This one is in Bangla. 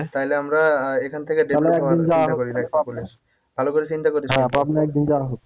তাইলে আমরা এখান থেকে ভালো করে চিন্তা করিস